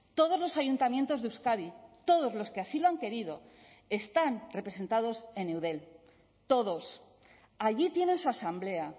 todos los ayuntamientos de euskadi todos los que así lo han querido están representados en eudel todos allí tienen su asamblea